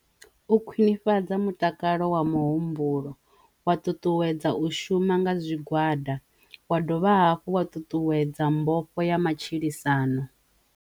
U khwinifhadza mutakalo wa muhumbulo wa ṱuṱuwedza u shuma nga zwigwada wa dovha hafhu wa ṱuṱuwedza mbofho ya matshilisano.